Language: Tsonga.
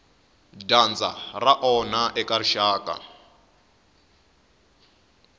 dyandza ra onha eka rixaka